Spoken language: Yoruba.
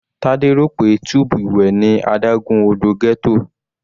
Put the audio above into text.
Tade rò pé tub ìwẹ̀ ni adágún odò ghetto.